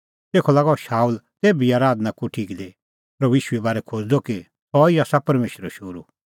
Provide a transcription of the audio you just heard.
तेखअ लागअ शाऊल तेभी आराधना कोठी दी प्रभू ईशूए बारै खोज़दअ कि सह ई आसा परमेशरो शोहरू